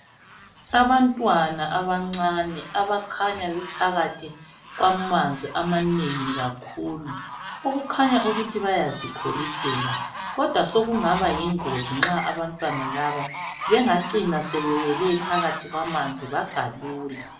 Abantwana abancane abakhanya bephakathi kwamanzi amanengi kakhulu, okukhanya ukuthi bayazikholosela. Kodwa sokungaba yingozi nxa abantwana laba bengacina sebewele phakathi kwamanzi bagalula.